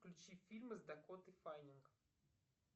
включи фильмы с дакотой фаннинг